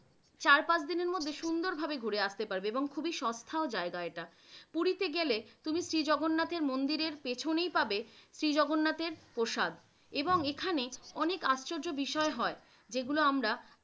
চার পাঁচ দিনের সুন্দরভাবে ঘুরে আস্তে পারবে এবং খুবই সস্থা ও জায়গা এইটা । পুরীতে গেলে জগন্নাথের মন্দিরের পিছনেই পাবে শ্রীজগন্নাথের প্রসাদ এবং এইখানে অনেক আশ্চর্য বিষয় হয় যেগুলো আমরা